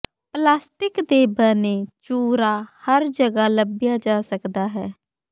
plastic ਦੇ ਬਣੇ ਚੂਰਾ ਹਰ ਜਗ੍ਹਾ ਲੱਭਿਆ ਜਾ ਸਕਦਾ ਹੈ